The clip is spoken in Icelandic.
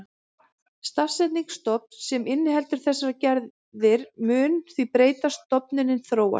Samsetning stofns sem inniheldur þessar gerðir mun því breytast, stofninn þróast.